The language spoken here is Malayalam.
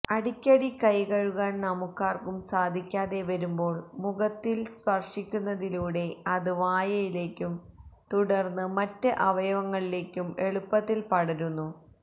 അടിക്കടി കൈ കഴുകാന് നമുക്കാര്ക്കും സാധിക്കാതെ വരുമ്പോൾ മുഖത്തില് സ്പര്ശിക്കുന്നതിലൂടെ അത് വായയിലേക്കും തുടര്ന്ന് മറ്റ് അവയവങ്ങളിലേക്കും എളുപ്പത്തില് പടരുന്നു